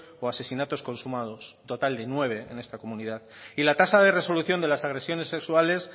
o asesinatos consumados un total de nueve en esta comunidad y la tasa de resolución de las agresiones sexuales